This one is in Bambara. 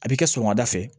A bi kɛ sɔgɔmada fɛ